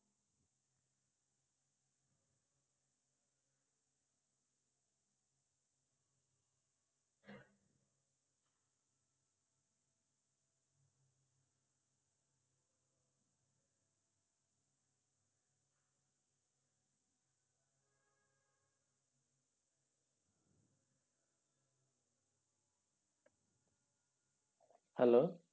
Hello